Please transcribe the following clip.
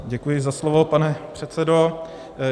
Děkuji za slovo, pane předsedo.